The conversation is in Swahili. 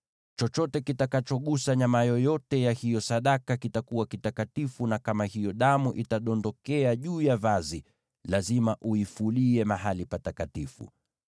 Chochote kitakachogusa nyama yoyote ya hiyo sadaka kitakuwa kitakatifu, na kama hiyo damu itadondokea juu ya vazi, lazima uifulie mahali patakatifu.